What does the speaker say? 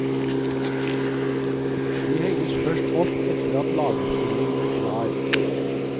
De henges først opp etter at lagoppstillingen er klar.